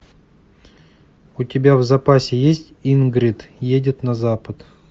у тебя в запасе есть ингрид едет на запад